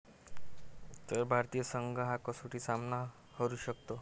...तर भारतीय संघ हा कसोटी सामना हरू शकतो